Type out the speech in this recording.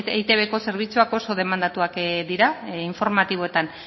eitbko zerbitzuak oso demandatuak dira informatiboetan